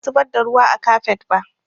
Ba ni na zubar da ruwa a kafet ba